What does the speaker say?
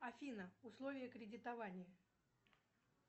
афина условия кредитования